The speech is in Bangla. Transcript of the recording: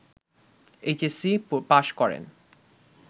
এইচএসসি পাশ করেন